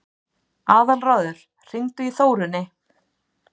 Aðalráður, hringdu í Þórunni.